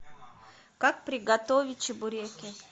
как приготовить чебуреки